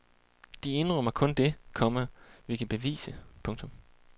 De indrømmer kun det, komma vi kan bevise. punktum